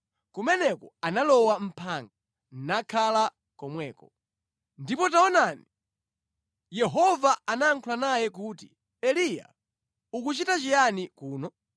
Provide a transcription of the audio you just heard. Kumeneko analowa mʼphanga, nakhala komweko. Ambuye Aonekera Eliya Ndipo taonani, Yehova anayankhula naye kuti, “Eliya, ukuchita chiyani kuno?”